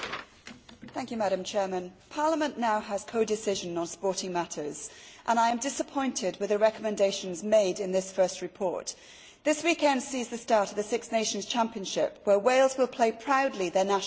Madam President, Parliament now has codecision on sporting matters and I am disappointed with the recommendations made in this first report. This weekend sees the start of the Six Nations Championship, where Wales will proudly play their national sport.